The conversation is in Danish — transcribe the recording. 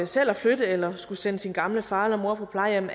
selv at flytte eller skulle sende sin gamle far eller mor på plejehjem